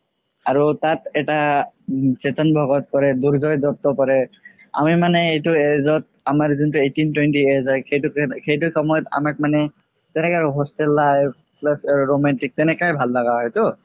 আৰু তাত এটা উম চেতান ভাগত কৰে দুৰ্জোয় দুত্তা কৰে আমি মানে সেইটো age ত আমাৰ যোনটো eighteen twenty age হয় সেইটো সময়ত আমাক মানে hostel life plus romantic তেনেকাই ভাল লাগা হয়তো